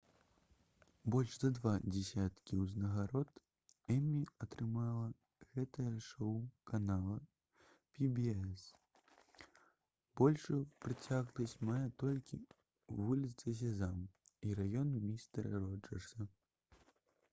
больш за два дзесяткі ўзнагарод «эмі» атрымала гэтае шоу канала «пі-бі-эс». большую працягласць мае толькі «вуліца сезам» і «раён містэра роджэрса»